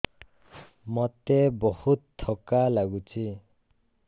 ମୋତେ ବହୁତ୍ ଥକା ଲାଗୁଛି